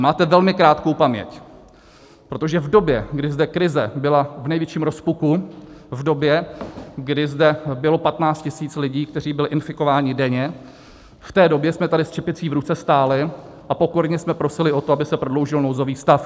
A máte velmi krátkou paměť, protože v době, kdy zde krize byla v největším rozpuku, v době, kdy zde bylo 15 tisíc lidí, kteří byli infikováni, denně, v té době jsme tady s čepicí v ruce stáli a pokorně jsme prosili o to, aby se prodloužil nouzový stav.